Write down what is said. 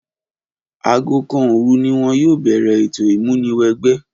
Aago kan òòru ni wọn yóò bẹ̀rẹ̀ ètò ìmúniwẹgbẹ́.